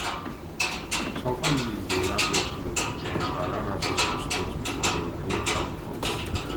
some families dey wrap red cloth um around ancestor stones before them clear farm plots